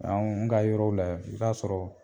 Anw ka yɔrɔw la y i b'a sɔrɔ